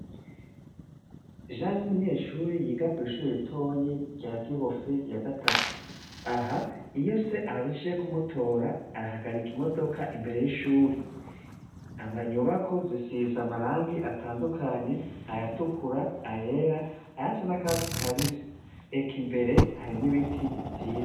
Ja n 'umunyeshuri yiga kw' ishuri ritonyi rya gihofe ya gatatu, aha iyo se aje kumutora ahagarika imodoka imbere y'ishuri, amanyubako zisize Amarangi atandukanye ayatukura ,ayera, aya sa n'a katsi ka bisi ,eka imbere harimw' ibiti vyiza.